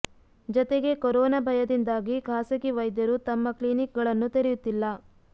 ಜತೆಗೆ ಕೊರೋನಾ ಭಯದಿಂದಾಗಿ ಖಾಸಗಿ ವೈದ್ಯರು ತಮ್ಮ ಕ್ಲಿನಿಕ್ ಗಳನ್ನೂ ತೆರೆಯುತ್ತಿಲ್ಲ